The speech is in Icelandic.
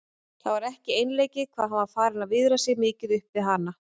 Það var ekki einleikið hvað hann var farinn að viðra sig mikið upp við hana.